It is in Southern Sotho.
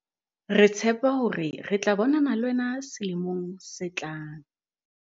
Re tshepa hore re tla bonana le wena selemong se tlang!